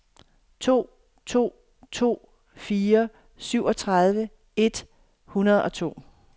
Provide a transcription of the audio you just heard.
to to to fire syvogtredive et hundrede og to